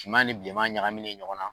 Finma ni bilenman ɲagaminen ɲɔgɔn na.